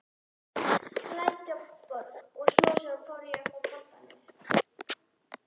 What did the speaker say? Lækjartorg og smám saman fór ég að fá pantanir.